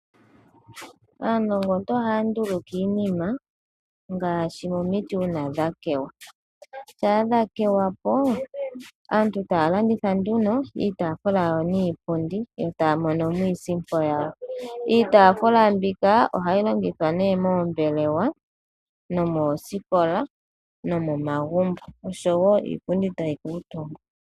Aanongontu ohaya nduluka iininima ngaashi momiti uuna dha kewa. Shampa dhakewa po aantu ohaya landitha iitaafula niipundi e taya mono mo iisimpo yawo. Iitafula mbika ohayi longithwa moombelewa, moosikola nomomagumbo osho wo iipundi tayi kuutumbwa.